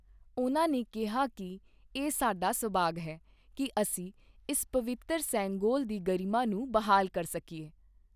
ਉਨ੍ਹਾਂ ਨੇ ਕਿਹਾ ਕਿ ਇਹ ਸਾਡਾ ਸੌਭਾਗ ਹੈ ਕਿ ਅਸੀਂ ਇਸ ਪਵਿੱਤਰ ਸੇਂਗੋਲ ਦੀ ਗਰਿਮਾ ਨੂੰ ਬਹਾਲ ਕਰ ਸਕੀਏ।